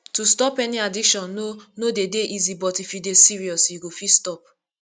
to stop any addiction no no dey easy but if you dey serious you fit stop